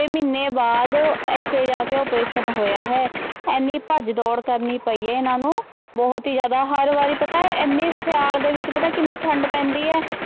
ਮਹੀਨੇ ਬਾਅਦ ਇੱਥੇ ਜਾ ਕੇ operation ਹੋਇਆ ਹੈ ਇੰਨੀ ਭੱਜ ਦੌੜ ਕਰਨੀ ਪਈ ਹੈ ਇਹਨਾਂ ਨੂੰ ਬਹੁਤ ਹੀ ਜ਼ਿਆਦਾ, ਹਰ ਵਾਰੀ ਪਤਾ ਹੈ ਇੰਨੀ ਸਿਆਲ ਦੇ ਵਿੱਚ ਪਤਾ ਕਿੰਨੀ ਠੰਢ ਪੈਂਦੀ ਹੈ,